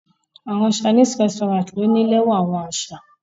Awọn chinese resturant ni o ni lẹwa awọn aṣa